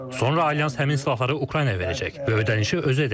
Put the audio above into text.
Sonra Alyans həmin silahları Ukraynaya verəcək və ödənişi özü edəcək.